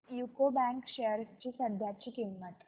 UCO bank shares ची सध्याची किंमत